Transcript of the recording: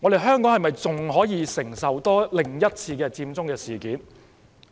香港能否承受另一次佔中事件？